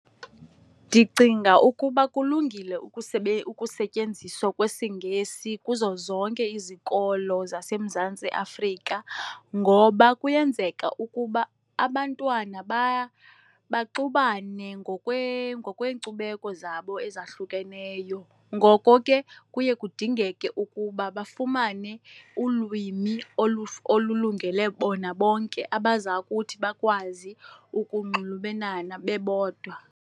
Ndicinga ukuba kulungile ukusetyenziswa kwesiNgesi kuzo zonke izikolo zaseMzantsi Afrika ngoba kuyenzeka ukuba abantwana baxubane ngokweenkcubeko zabo ezahlukeneyo, ngoko ke kuye kudingeke ukuba bafumane ulwimi olulungele bona bonke abaza kuthi bakwazi ukunxulumelana bebodwa.